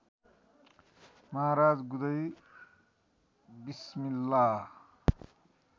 महाराज गुदई बिस्मिल्ला